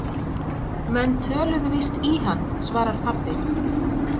Menn töluðu víst í hann, svarar pabbi.